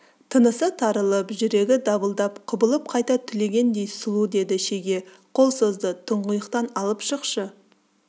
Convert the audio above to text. тынысы тарылып жүрегі дабылдап құбылып қайта түлегендей сұлу деді шеге қол созды тұңғиықтан алып шықшы